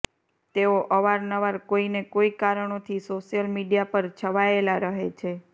તેઓ અવાર નવાર કોઈને કોઈ કારણોથી સોશિયલ મીડિયા પર છવાયેલા રહે છે